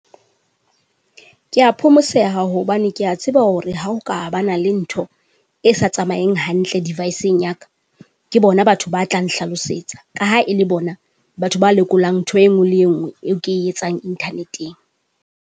Kea phomoseya hobane Ke a tseba hore ha o ka bana le ntho, e sa tsamaeng hantle deviceng yaka. Ke bona batho ba tla hlalosetsa, ka ha e le bona batho ba lekolang ntho e nngwe le e nngwe eo ke e etsang interneteng.